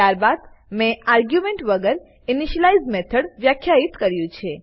ત્યારબાદ મેં આર્ગ્યુમેન્ટ વગર ઇનિશિયલાઇઝ મેથોડ વ્યાખ્યિત કર્યું છે